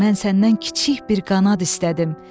Mən səndən kiçik bir qanad istədim.